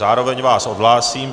Zároveň vás odhlásím.